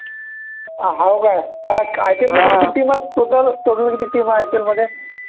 हाव काय IPL मध्ये किती team आहे total total किती team आहे IPL मध्ये